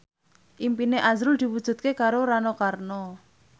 impine azrul diwujudke karo Rano Karno